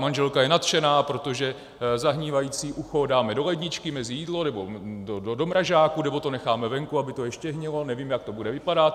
Manželka je nadšená, protože zahnívající ucho dáme do ledničky mezi jídlo, nebo do mrazáku, nebo to necháme venku, aby to ještě hnilo, nevím, jak to bude vypadat.